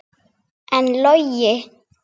En Logi?